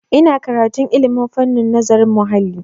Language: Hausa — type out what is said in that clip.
Ina karantun ilmin fannin nazarin muhalli.